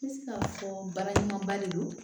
N bɛ se ka fɔ baaraɲɔgɔnba de don